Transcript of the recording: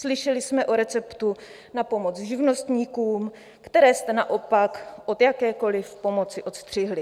Slyšeli jsme o receptu na pomoc živnostníkům, které jste naopak od jakékoliv pomoci odstřihli.